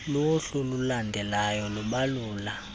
luhlu lulandelalyo lubalula